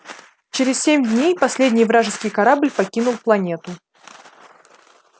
через семь дней последний вражеский корабль покинул планету